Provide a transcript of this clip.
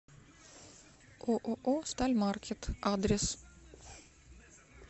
ооо стальмаркет адрес